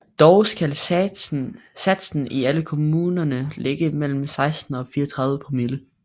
Dog skal satsen i alle kommuner ligge mellem 16 og 34 promille